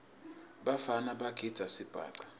bafana bagidza sibhaca